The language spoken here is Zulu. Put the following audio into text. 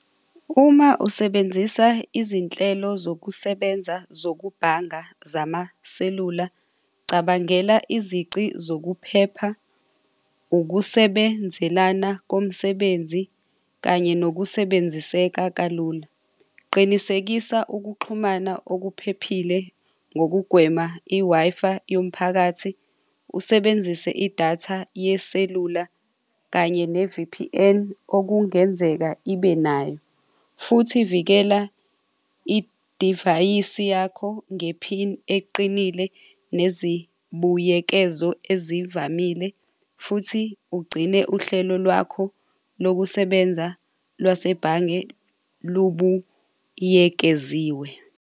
Uma usebenzisa izinhlelo zokusebenza zokubhanga zamaselula cabangela izici zokuphepha, ukusebenzelana komsebenzi kanye nokusebenziseka kalula. Qinisekisa ukuxhumana okuphephile ngokugwema i-Wi-Fi yomphakathi usebenzise idatha yeselula kanye ne-V_P_N okungenzeka ibe nayo. Futhi vikela idivayisi yakho ngephini eqinile, nezibuyekezo ezivamile, futhi ugcine uhlelo lwakho lokusebenza lwasebhange lubuyekeziwe.